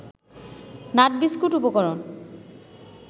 nut biscuit উপকরণ